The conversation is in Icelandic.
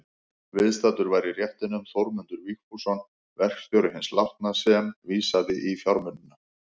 Viðstaddur var í réttinum Þórmundur Vigfússon, verkstjóri hins látna, sem vísaði á fjármunina.